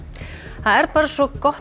það er bara svo gott